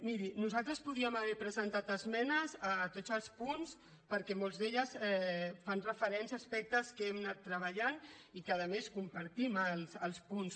miri nosaltres podíem haver presentat esmenes a tots els punts perquè molts d’ells fan referència a aspectes que hem anat treballant i que a més compartim els punts